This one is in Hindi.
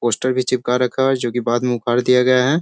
पोस्टर भी चिपका रखा हुआ है जो कि बाद में उखाड़ दिया गया है।